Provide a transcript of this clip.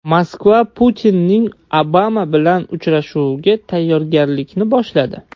Moskva Putinning Obama bilan uchrashuviga tayyorgarlikni boshladi.